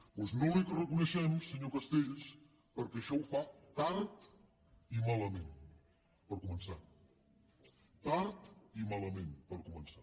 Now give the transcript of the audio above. doncs no l’hi reconeixem senyor castells perquè això ho fa tard i malament per començar tard i malament per començar